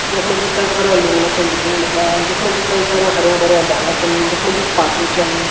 यख मा जी कई सारा लुंगना छन दिखेण लग्यां यख मा जी कई सारा हरयां भर्यां डाला छन यख मा जी छन।